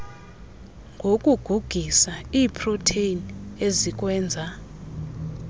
ngokugugisa iiproteni ezikwenza